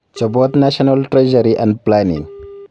Chobot National Treasury and Planning